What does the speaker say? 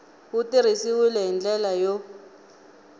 wu tirhisiwile hi ndlela yo